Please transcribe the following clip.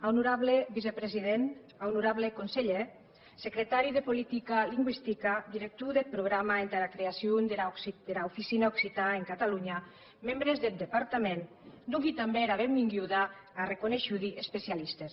aunorable vicepresident aunorable conselhèr secretari de politica lingüistica director deth programa entara creacion dera oficina occitan en catalonha membres deth departament dongui tanben era benvenguda tà reconeishudi especialistes